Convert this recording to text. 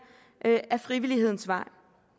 ad frivillighedens vej